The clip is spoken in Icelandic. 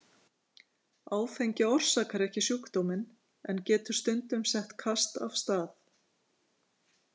Áfengi orsakar ekki sjúkdóminn en getur stundum sett kast af stað.